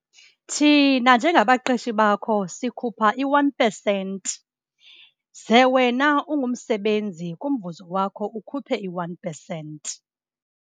Thina njengabaqeshi bakho sikhupha i-one percent, ze wena ungumsebenzi kumvuzo wakho ukhuphe i-one percent.